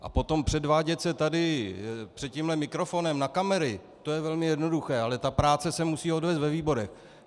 A potom předvádět se tady před tímhle mikrofonem na kamery, to je velmi jednoduché, ale ta práce se musí odvést ve výborech.